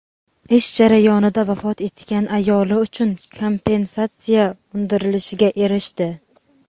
ish jarayonida vafot etgan ayoli uchun kompensatsiya undirilishiga erishdi.